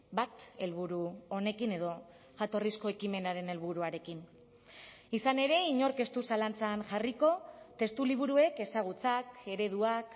bat helburu honekin edo jatorrizko ekimenaren helburuarekin izan ere inork ez du zalantzan jarriko testuliburuek ezagutzak ereduak